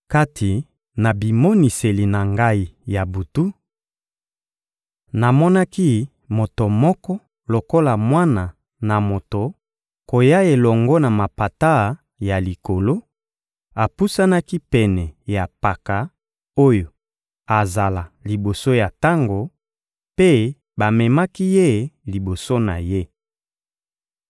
Kati na bimoniseli na ngai ya butu, namonaki moto moko lokola Mwana na Moto koya elongo na mapata ya likolo; apusanaki pene ya Mpaka oyo azala liboso ya tango, mpe bamemaki ye liboso na Ye.